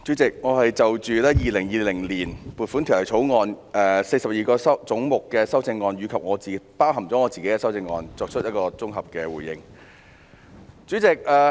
主席，我是就《2020年撥款條例草案》下42個總目的修正案——包括我提出的修正案——作綜合回應。